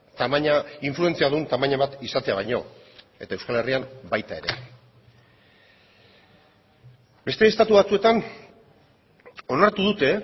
tamaina influentzia duen tamaina bat izatea baino eta euskal herrian baita ere beste estatu batzuetan onartu dute